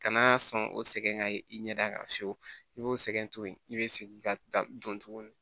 Kana sɔn o sɛgɛn ka i ɲɛda kan fiyewu i b'o sɛgɛn tuguni i be segin ka da don tuguni